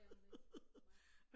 Det er man ikke nej